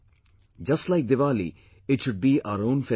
Just like Diwali, it should be our own festival